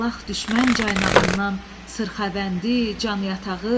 Alaq düşmən caynağından, sırxavəndi, can yatağı.